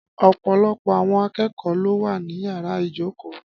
Ọ̀pọ̀lọpọ̀ àwọn akẹ́kọ̀ọ́ ló wà ní yàrá ìjókòó.